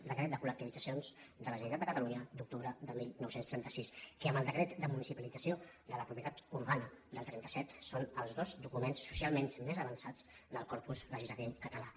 decret de col·lectivitzacions de la generalitat de catalunya d’octubre de dinou trenta sis que amb el decret de municipalització de la propietat urbana del trenta set són els dos documents socialment més avançats del corpus le·gislatiu català